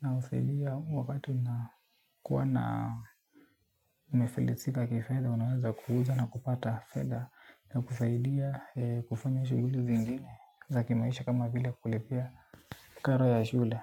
Na husaidia wakati unakuwa na umefilisika kifedha unaweza kuuza na kupata fedha. Na kusaidia kufanya shughuli zingine za kimaisha kama vile kulipia karo ya shule.